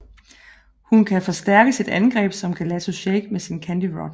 Hun kan forstærke sit angreb som Gelato Shake med sin Candy Rod